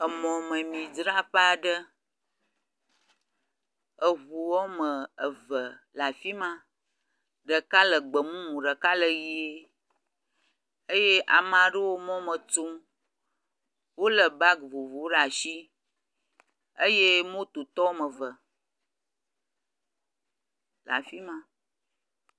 Emɔmemidzraƒe aɖe, eʋu woame eve le afima; ɖeka le gbemumu, ɖeka le ɣie eye ameaɖewo mɔ me tso. Wole bag vovovowo ɖe asi eye mototɔ woameve le afima.